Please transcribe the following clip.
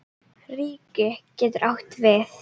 Ríki getur átt við